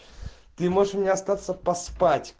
ты можешь у меня остаться поспать